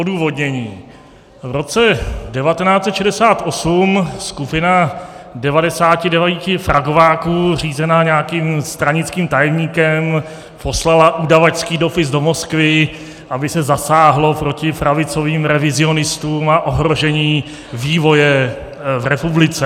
Odůvodnění: V roce 1968 skupina 99 pragováků řízená nějakým stranickým tajemníkem poslala udavačský dopis do Moskvy, aby se zasáhlo proti pravicovým revizionistům a ohrožení vývoje v republice.